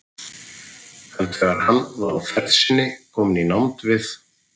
Snemma þennan vetur hvarf húskarl einn er Einar hét og vistast hafði í